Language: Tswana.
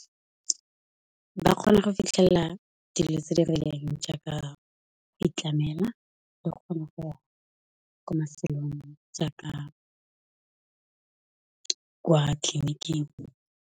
Ba kgona go fitlhella dilo tse di rileng ja ka go itlamela, le kgona go ya ko mafelong ja ka, kwa tleliniking.